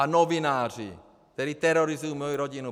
A novináři, kteří terorizují moji rodinu.